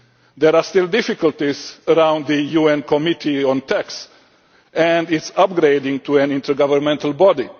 There are still difficulties around the UN committee on tax, and its upgrading to an intergovernmental